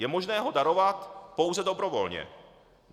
Je možné ho darovat pouze dobrovolně.